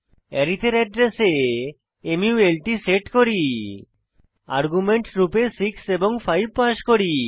আরিথ এর অ্যাড্রেসে মাল্ট সেট করি আর্গুমেন্ট রূপে 6 এবং 5 পাস করি